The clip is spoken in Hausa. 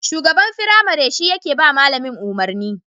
Shugaban firamare shi yake ba malamin umarni